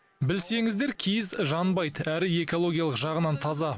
білсеңіздер киіз жанбайды әрі экологиялық жағынан таза